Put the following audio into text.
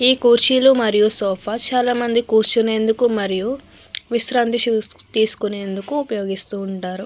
ఈ కుర్చీలూ మరియు సోఫా చాలా మంది కూర్చునేందుకు మరియు విశ్రాంతి తీసుకునేందుకు ఉపయోగిస్తుంటారు.